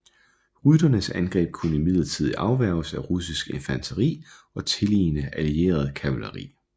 Rytternes angreb kunne imidlertid afværges af russisk infanteri og tililende allieret kavaleri